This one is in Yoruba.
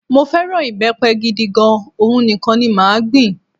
Mó fẹ́ràn ìbẹ́pẹ gidi gan, òhun nìkan ni màá gbìn